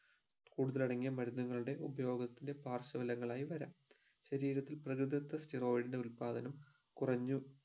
കൂടുതൽ അടങ്ങിയ മരുന്ന്കളുടെ ഉപയോഗത്തിന്റെ പാർശ്വഫലങ്ങളായി വരം ശരീരത്തിൽ പ്രകൃതിദത്ത steoid ന്റെ ഉൽപാദനം കുറഞ്ഞു